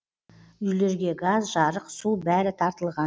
үйлерге газ жарық су бәрі тартылған